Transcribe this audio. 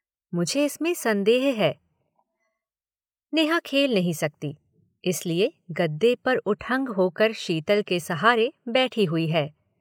नेहा खेल नहीं सकती। इसलिए गद्दे पर उठंग होकर शीतल के सहारे बैठी हुई है।